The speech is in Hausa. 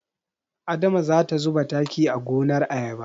Adama za ta zuba taki a gonar ayaba.